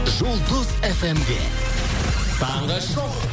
жұлдыз фмде таңғы шоу